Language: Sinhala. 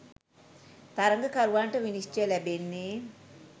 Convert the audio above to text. තරගකරුවන්ට විනිශ්චය ලැබෙන්නේ